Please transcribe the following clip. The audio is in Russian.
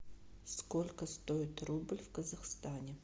сколько стоит рубль в казахстане